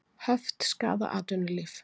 Höft skaða atvinnulíf